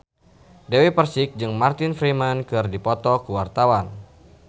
Dewi Persik jeung Martin Freeman keur dipoto ku wartawan